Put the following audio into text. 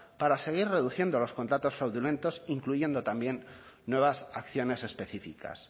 para seguir reduciendo los contratos fraudulentos incluyendo también nuevas acciones específicas